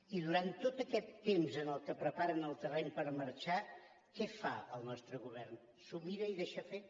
i durant tot aquest temps en què preparen el terreny per marxar què fa el nostre govern s’ho mira i deixa fer